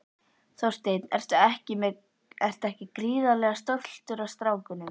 Þorsteinn: En ertu ekki gríðarlega stoltur af strákunum?